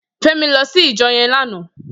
Femi lò si ijò yèn làná